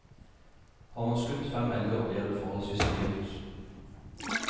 Har man skutt fem elger, blir det forholdsvis dyrt.